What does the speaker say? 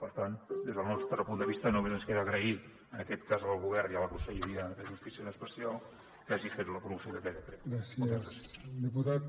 per tant des del nostre punt de vista només ens queda agrair en aquest cas al govern i a la conselleria de justícia en extensió que hagi fet la promoció d’aquest decret